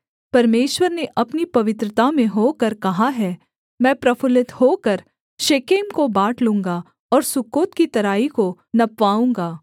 परमेश्वर ने अपनी पवित्रता में होकर कहा है मैं प्रफुल्लित होकर शेकेम को बाँट लूँगा और सुक्कोत की तराई को नपवाऊँगा